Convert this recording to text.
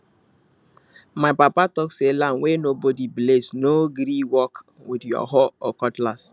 my papa talk say land wey nobody bless no go gree work with your hoe or cutlass